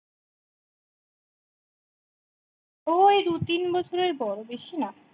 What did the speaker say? ও ওই দু তিন বছরের বড়ো বেশি না